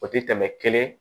O tɛ tɛmɛ kelen